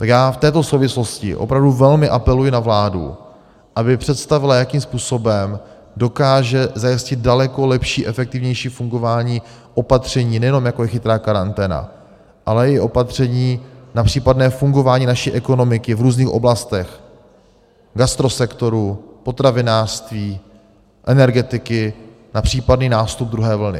Tak já v této souvislosti opravdu velmi apeluji na vládu, aby představila, jakým způsobem dokáže zajistit daleko lepší, efektivnější fungování opatření, nejenom jako je chytrá karanténa, ale i opatření na případné fungování naší ekonomiky v různých oblastech, gastrosektoru, potravinářství, energetiky, na případný nástup druhé vlny.